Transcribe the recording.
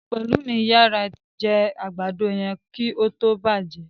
Pelumi yara jé àgbàdo yén kí ó tó bàjé.